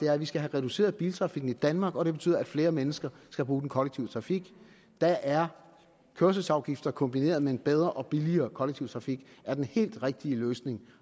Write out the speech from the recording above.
er at vi skal have reduceret biltrafikken i danmark og det betyder at flere mennesker skal bruge den kollektive trafik der er kørselsafgifter kombineret med en bedre og billigere kollektiv trafik den helt rigtige løsning